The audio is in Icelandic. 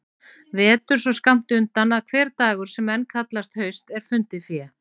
Vetur svo skammt undan að hver dagur sem enn kallast haust er fundið fé.